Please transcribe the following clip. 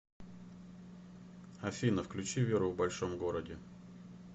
афина включи веру в большом городе